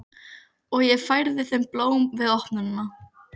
Og ég færði þeim blóm við opnunina.